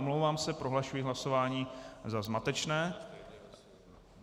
Omlouvám se, prohlašuji hlasování za zmatečné.